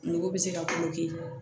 Nogo bɛ se ka